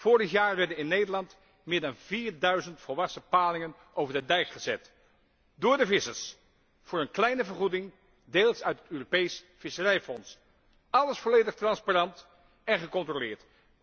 Vorig jaar werden in Nederland meer dan 4000 volwassen palingen over de dijk gezet door de vissers tegen een kleine vergoeding, deels uit het Europees Visserijfonds. Alles volledig transparant en gecontroleerd.